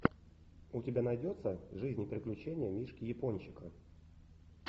у тебя найдется жизнь и приключения мишки япончика